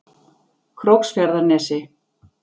Króksfjarðarnesi